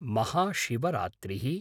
महाशिवरात्रिः